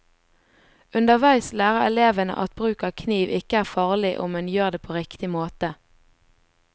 Underveis lærer elevene at bruk av kniv ikke er farlig om en gjør det på riktig måte.